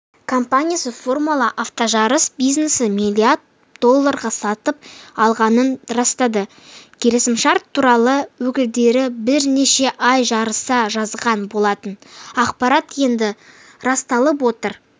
компаниясы формула автожарыс бизнесін миллиард долларға сатып алғанын растады келісімшарт туралы өкілдері бірнеше ай жарыса жазған болатын ақпарат енді расталып отыр